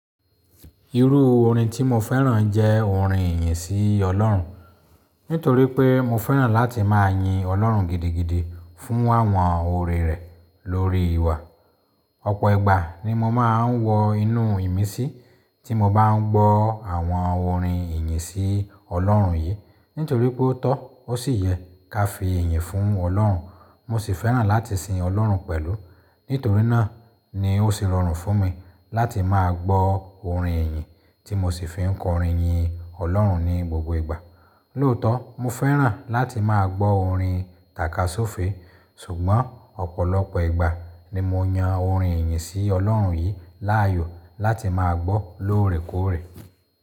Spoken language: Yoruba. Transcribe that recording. Irú orin tí mo fẹ́ràn jẹ́ orin ìyìn sí Ọlọ́run. Nítorí pé mo fẹ́ràn láti máa yin Ọlọ́run gidigidi fún àwọn oore rẹ̀ lórí ìwà. Ọ̀pọ̀ ìgbà ni mo máa ń wọ inú ìmísí tí mo bá n gbọ́ àwọn orin ìyìn sí Ọlọ́run yìí. Nítorí pé ó tọ́, ó sì yẹ ká fi ìyìn fún Ọlọ́run. Mo sì fẹ́ràn láti sin Ọlọ́run pẹ̀lú. Nítorí náà ni ó sì rọrùn fún mi láti máa gbọ́ orin ìyìn tí mo sì fi ń kọrin yin Ọlọ́run ní gbogbo ìgbà. Lóòótọ́ mo fẹ́ràn láti máa gbọ́ orin tàkasufè, ṣùgbọ́n ọ̀pọ̀lọpọ̀ ìgbà ni mo yan orin ìyìn sí Ọlọ́run yìí láàyò láti máa gbọ́ lóòrèkóòrè.